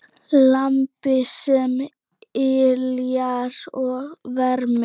Lampi sem yljar og vermir.